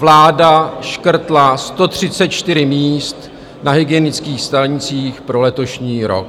Vláda škrtla 134 míst na hygienických stanicích pro letošní rok.